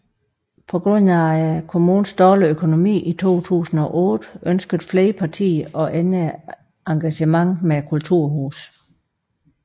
På grund af kommunens dårlige økonomi i 2008 ønskede flere partier at ændre engagementet med kulturhuset